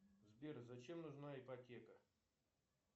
сбер зачем нужна ипотека